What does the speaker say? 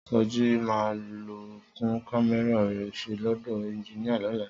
Sọjí máa lọ tún kámẹ́rà rẹ̀ ṣe lọ́dọ̀ ẹnjiníà lọ́la